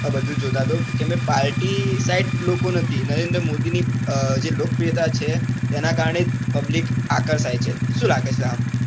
આ બધુ જોતાં તો કેમ કે party side લોકો નથી નરેન્દ્ર મોદીની અ જે લોકપ્રિયતા છે તેનાં કારણે public આકર્ષાય છે શું લાગે છે આમ